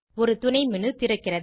ஒரு துணை மேனு திறக்கிறது